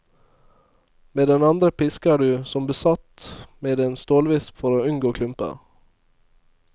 Med den andre pisker du som besatt med en stålvisp for å unngå klumper.